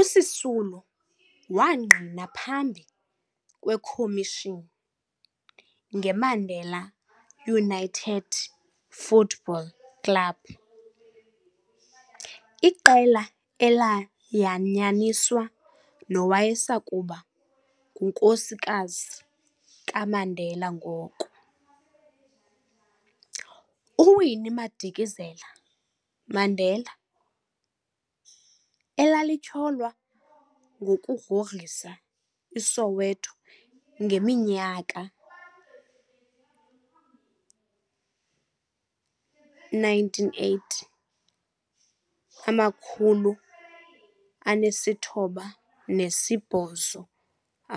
USisulu wangqina phambi kwekhomishini "ngeMandela United Football Club", iqela elayanyaniswa nowayesakuba ngunkosikazi kaMandela ngoko, uWinnie Madikizela-Mandela, elalityholwa ngokugrogrisa iSoweto ngeminyaka